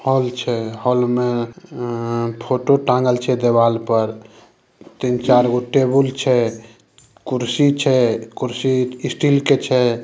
Hall छै हाल में फोटो टांगल छै दीवाल पर तीन-चार को टेबल छै कुर्सी छै कुर्सी स्टील के छै।